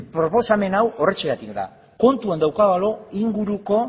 proposamen hau horrexegatik da kontuan daukagulako